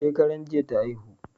Shekaran jiya ta haihu